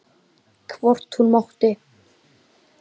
Hvort hún mátti!